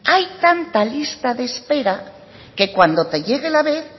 hay tanta lista de espera que cuando te llegue la vez